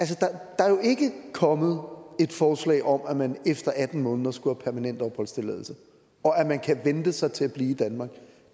der er jo ikke kommet et forslag om at man efter atten måneder skulle have permanent opholdstilladelse og at man kan vente sig til at blive i danmark